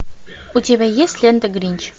у тебя есть лента гринч